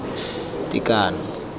tekano